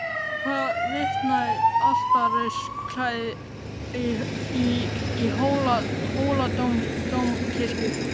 Um það vitnaði altarisklæðið í Hóladómkirkju.